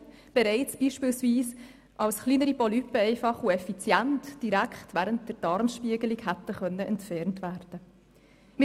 Oder sie hätten bereits beispielsweise als kleinere Polypen einfach und effizient direkt während der Darmspiegelung entfernt werden können.